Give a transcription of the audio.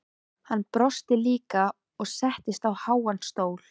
Hann brosti líka og settist á háan stól.